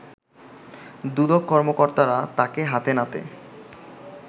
দুদক কর্মকর্তারা তাকে হাতে নাতে